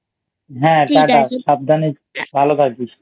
হ্যাঁ TATA সাবধানে ভালো থাকিস